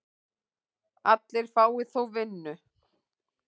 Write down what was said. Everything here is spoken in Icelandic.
Allir fái þó vinnu.